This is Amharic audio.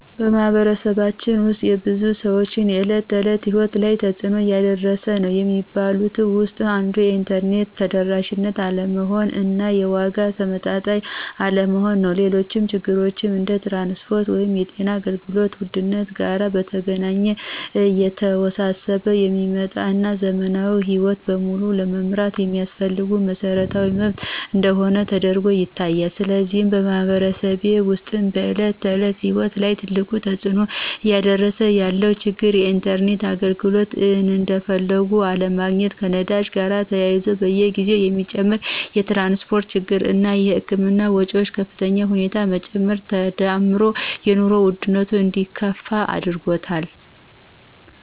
በማኅበረሰባችን ውስጥ የብዙ ሰዎች የዕለት ተዕለት ሕይወት ላይ ትጽእኖ እያሳደረ ነዉ የሚባሉት ውስጥ አንዱ የኢንተርኔት ተደራሽ አለመሆን እና የዋጋው ተመጣጣኝ አለመሆን ነው። ሌሎች ችግሮች እንደ ትራንስፖርት ወይም የጤና አገልግሎት ውድነት ጋር በተገናኘ እየተወሳሰበ የሚመጣ እና ዘመናዊ ሕይወትን በሙሉ ለመምራት የሚያስፈልግ መሰረታዊ መብት እንደሆነ ተደርጎ ይታያል። ስለዚህ በማኅበረሰቤ ውስጥ በዕለት ተዕለት ሕይወት ላይ ትልቁን ተጽዕኖ እያሳደረ ያለው ችግር የኢንተርኔት አገልግሎት እንደፈለጉ አለመገኘት፣ ከነዳጅ ጋር ተያይዞ በየጊዜው የሚጨምር የትራንስፖርት ችግር እና የህክምና ወጮች በከፍተኛ ሁኔታ መጨመር ተዳምሮ የኑሮ ውድነቱ እንዲከፋ አድርጎታል።